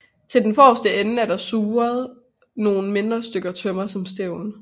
Til den forreste ende er der surret nogle mindre stykker tømmer som stævn